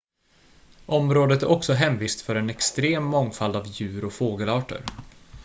området är också hemvist för en extrem mångfald av djur- och fågelarter